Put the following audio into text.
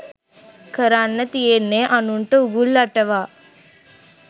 කරන්න තියෙන්නේ අනුන්ට උගුල් අටවා